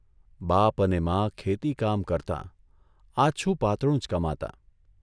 બાપ અને મા ખેતીકામ કરતાં, આછું પાતળું જ કમાતાં.